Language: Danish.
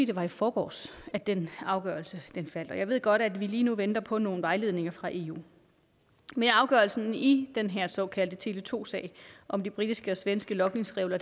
det var i forgårs at den afgørelse faldt og jeg ved godt at vi lige nu venter på nogle vejledninger fra eu men afgørelsen i den her såkaldte tele2 sag om de britiske og svenske logningsregler